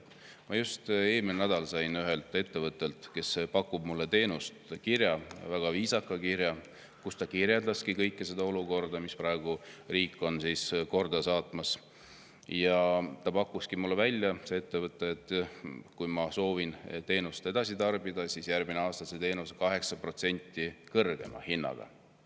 Ma just eelmine nädal sain ühelt ettevõttelt, kes pakub mulle teenust, kirja – väga viisaka kirja –, kus ta kirjeldas kogu seda olukorda, mis riigis on praegu, ja ta pakkuski mulle välja, et kui ma soovin teenust edasi tarbida, siis järgmisel aastal on see teenus 8% kõrgema hinnaga.